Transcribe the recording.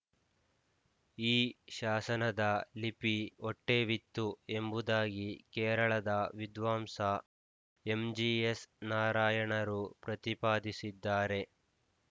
ಈ ಶಾಸನದ ಲಿಪಿ ವಟ್ಟೆವಿತ್ತು ಎಂಬುದಾಗಿ ಕೇರಳದ ವಿದ್ವಾಂಸ ಎಂಜಿಎಸ್ ನಾರಾಯಣರು ಪ್ರತಿಪಾದಿಸಿದ್ದಾರೆ